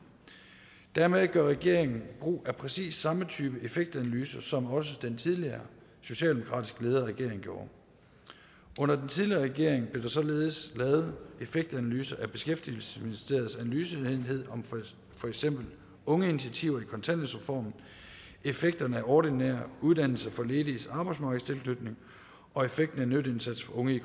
dermed gør regeringen brug af præcis samme type effektanalyse som også den tidligere socialdemokratisk ledede regering gjorde under den tidligere regering blev der således lavet effektanalyser af beskæftigelsesministeriets analyseenhed om for eksempel ungeinitiativer i kontanthjælpsreformen effekten af ordinær uddannelse for lediges arbejdsmarkedstilknytning og effekten af nytteindsats for unge i